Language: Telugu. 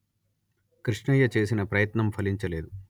కృష్ణయ్య చేసిన ప్రయత్నం ఫలించలేదు